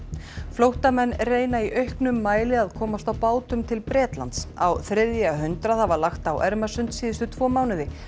flóttamenn reyna í auknum mæli að komast á bátum til Bretlands á þriðja hundrað hafa lagt á Ermarsund síðustu tvo mánuði